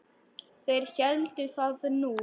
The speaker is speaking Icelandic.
Þeir héldu það nú.